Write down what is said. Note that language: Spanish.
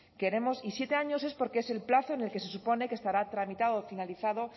queremos y siete años es porque es el plazo en el que se supone que estará tramitado o finalizado